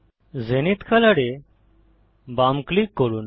zenith colour এ বাম click করুন